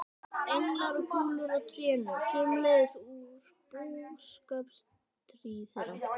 Englar og kúlur á trénu, sömuleiðis úr búskapartíð þeirra.